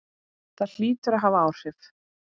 Það hlýtur að hafa áhrif.